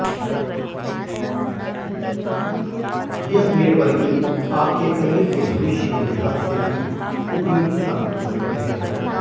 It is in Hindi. यह नेटवर्किंग आपके करियर के भविष्य के लिहाज से भी उपयोगी साबित हो सकती है